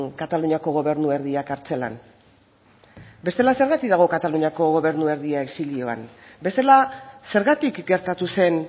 kataluniako gobernu erdia kartzelan bestela zergatik kataluniako gobernu erdia exilioan bestela zergatik gertatu zen